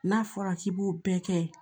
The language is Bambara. N'a fɔra k'i b'o bɛɛ kɛ